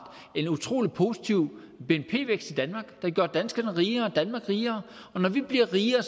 en utrolig positiv bnp vækst der gør danskerne rigere og danmark rigere og når vi bliver rigere